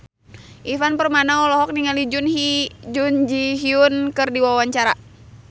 Ivan Permana olohok ningali Jun Ji Hyun keur diwawancara